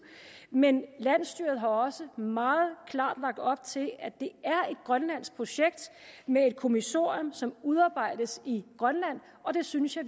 men landsstyret har også meget klart lagt op til at det er et grønlandsk projekt med et kommissorium som udarbejdes i grønland og det synes jeg